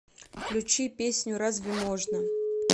включи песню разве можно